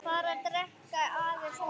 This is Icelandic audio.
Bara drekka aðeins minna.